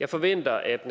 jeg forventer at